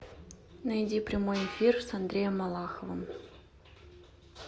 найди прямой эфир с андреем малаховым